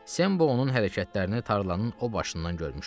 Sembo onun hərəkətlərini tarlanın o başından görmüşdü.